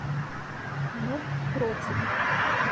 нуб против